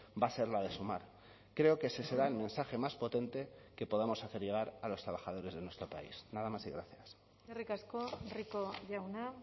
va a ser la de sumar creo que ese será el mensaje más potente que podamos hacer llegar a los trabajadores de nuestro país nada más y gracias eskerrik asko rico jauna